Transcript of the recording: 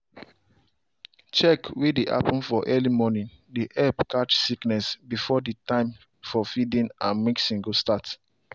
check way dey happen for early morning dry help catch sickness before the time for feeding and mixing go start.